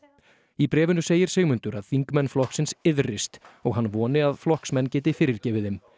í bréfinu segir Sigmundur að þingmenn flokksins iðrist og hann voni að flokksmenn geti fyrirgefið þeim